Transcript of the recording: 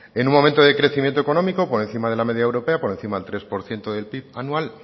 en un momento de crecimiento económico por encima de la media europea por encima del tres por ciento del pib anual